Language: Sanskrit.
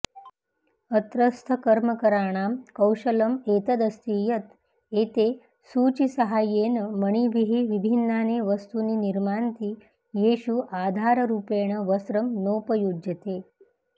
अत्रस्थकर्मकराणां कौशलम् एतदस्ति यत् एते सूचीसाहाय्येन मणिभिः विभिन्नानि वस्तूनि निर्मान्ति येषु आधाररूपेण वस्त्रं नोपयुज्यते